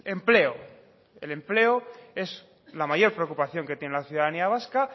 empleo el empleo es la mayor preocupación que tiene la ciudadanía vasca